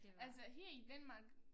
Altså her i Danmark